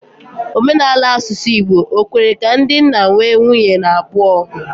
Omenala asusu Igbo, ọ̀ kwere ka ndị nna nwee nwunye n'abuo?